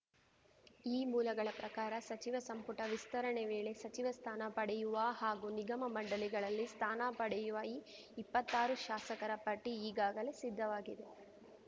ಈ ಮೂಲಗಳ ಪ್ರಕಾರ ಸಚಿವ ಸಂಪುಟ ವಿಸ್ತರಣೆ ವೇಳೆ ಸಚಿವ ಸ್ಥಾನ ಪಡೆಯುವ ಹಾಗೂ ನಿಗಮ ಮಂಡಳಿಗಳಲ್ಲಿ ಸ್ಥಾನ ಪಡೆಯುವ ಈ ಇಪ್ಪತ್ತಾರು ಶಾಸಕರ ಪಟ್ಟಿಈಗಾಗಲೇ ಸಿದ್ಧವಾಗಿದೆ